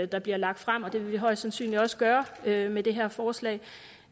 der bliver lagt frem og det vil vi højst sandsynligt også gøre med med det her forslag